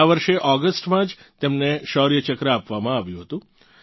આ વર્ષે ઓગસ્ટમાં જ તેમને શૌર્ય ચક્ર આપવામાં આવ્યું હતું